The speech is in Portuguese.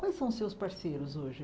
Quais são os seus parceiros hoje?